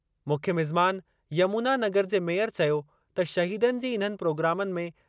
मुख्य मिज़मान, यमुना नगर जे मेयर चयो त शहीदनि जी इन्हनि प्रोग्रामनि में